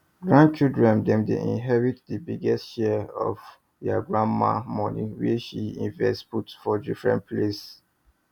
grand children dem dey inherit the biggest share of their grandma money wey she invest put for different place